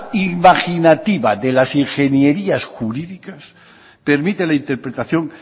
imaginativa de las ingenierías jurídicas permite la interpretación